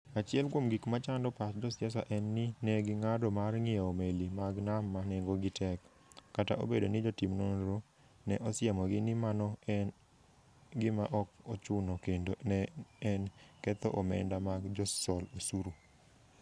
Achiel kuom gik ma chando pach josiasa en ni ne ging'ado mar ng'iewo meli mag nam ma nengogi tek, kata obedo ni jotim nonro ne osiemogi ni mano ne en gima ok ochuno kendo ne en ketho omenda mag josol osuru.